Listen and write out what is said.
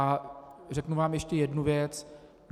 A řeknu vám ještě jednu věc.